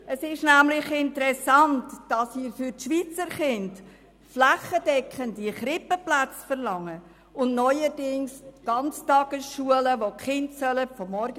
Es ist nämlich interessant, dass Sie einerseits für die Schweizer Kinder